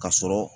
Ka sɔrɔ